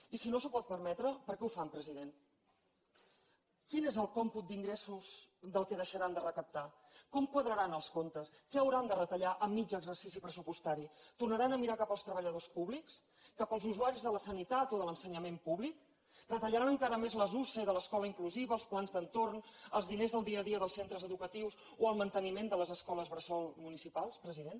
i si no s’ho pot permetre per què ho fan president quin és el còmput d’ingressos del que deixaran de recaptar com quadraran els comptes què hauran de retallar a mig exercici pressupostari tornaran a mirar cap als treballadors públics cap als usuaris de la sanitat o de l’ensenyament públic retallaran encara més les usee de l’escola inclusiva els plans d’entorn els diners del dia a dia dels centres educatius o el manteniment de les escoles bressol municipals president